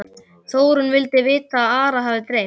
Þórunn vildi vita hvað Ara hefði dreymt.